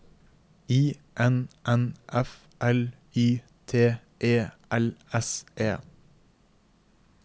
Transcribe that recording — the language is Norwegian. I N N F L Y T E L S E